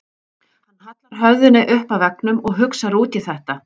Hann hallar höfðinu upp að veggnum og hugsar út í þetta.